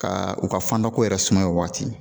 Ka u ka fanda ko yɛrɛ suma yen waati